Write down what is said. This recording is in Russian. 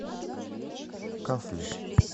касли